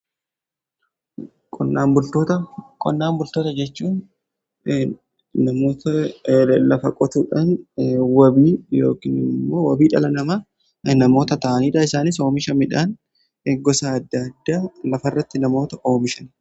Qonnaan bultoota: Qonnaan bultoota jechuun namoota lafa qotuudhaan wabii yookin immoo wabii dhala namaa namoota ta'aniidha. Isaan oomisha midhaan gosa adda addaa lafarratti namoota oomishan.